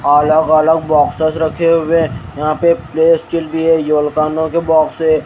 अलग अलग बॉक्सेस रखे हुए यहां पे भी है ये के बॉक्स हैं।